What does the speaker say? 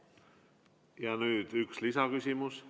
Nüüd üks lisaküsimus.